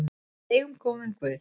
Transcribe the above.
Við eigum góðan guð.